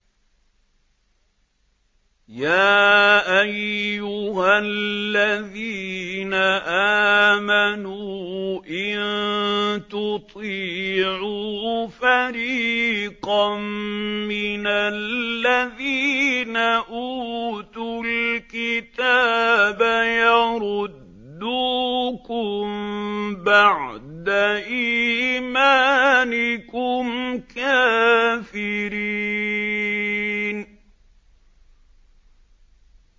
يَا أَيُّهَا الَّذِينَ آمَنُوا إِن تُطِيعُوا فَرِيقًا مِّنَ الَّذِينَ أُوتُوا الْكِتَابَ يَرُدُّوكُم بَعْدَ إِيمَانِكُمْ كَافِرِينَ